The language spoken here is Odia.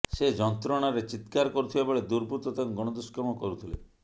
ସେ ଯନ୍ତ୍ରଣାରେ ଚିତ୍କାର କରୁଥିବାବେଳେ ଦୁର୍ବୃତ୍ତ ତାଙ୍କୁ ଗଣଦୁଷ୍କର୍ମ କରୁଥିଲେ